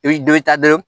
I bi dɔ bɛ taa dɔrɔn